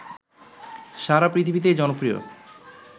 সারা পৃথিবীতেই জনপ্রিয়